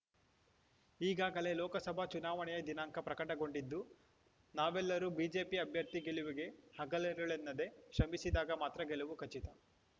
ಈಗಾಗಲೇ ಲೋಕಸಭಾ ಚುನಾವಣೆಯ ದಿನಾಂಕ ಪ್ರಕಟಗೊಂಡಿದ್ದು ನಾವೆಲ್ಲರೂ ಬಿಜೆಪಿ ಅಭ್ಯರ್ಥಿಯ ಗೆಲುವಿಗೆ ಹಗಲಿರುಳೆನ್ನದೆ ಶ್ರಮಿಸಿದಾಗ ಮಾತ್ರ ಗೆಲುವು ಖಚಿತ